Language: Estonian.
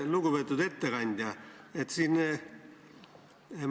Lugupeetud ettekandja!